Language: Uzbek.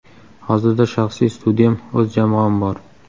Hozirda shaxsiy studiyam, o‘z jamoam bor.